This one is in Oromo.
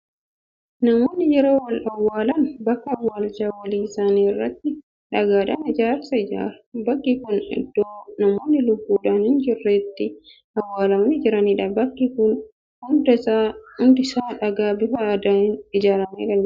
Namoonni yeroo wal awwaalan bakka awwaalcha walii isaanii irratti dhagaadhaan ijaarsa ijaaru. Bakki kun iddoo namoonni lubbuudhaan hin jirre itti awwaalamanii jiranidha. Bakki kun hundisaa dhagaa bifa adiin ijaaramee kan jirudha.